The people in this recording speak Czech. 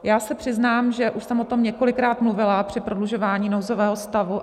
Já se přiznám, že už jsem o tom několikrát mluvila při prodlužování nouzového stavu.